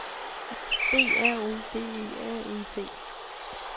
B R O D E R E T